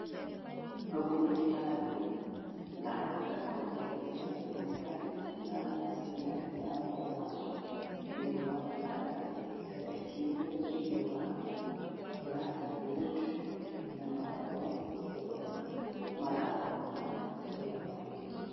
Gũkũ nĩ kĩrathi, na ngakorwo ngĩmenya atĩ nĩ harĩ na ciana irathoma thĩinĩ wa kĩrathi. Ciandĩkĩirwo thĩinĩ wa blackboard na magakorwo nĩ gũthoma marathoma kĩrĩa maandĩkĩirwo.